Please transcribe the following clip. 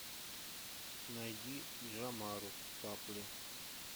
найди джамару капли